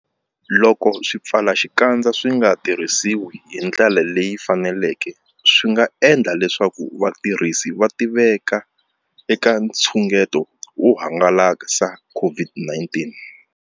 Loko swipfalaxikandza swi nga tirhisiwi hi ndlela leyi faneleke, swi nga endla leswaku vatirhisi va tiveka eka nxungeto wo hangalasa COVID-19.